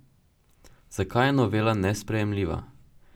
Zakaj je novela nesprejemljiva?